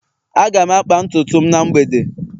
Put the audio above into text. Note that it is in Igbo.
aga m akpa ntutu m na mgbede